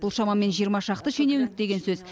бұл шамамен жиырма шақты шенеунік деген сөз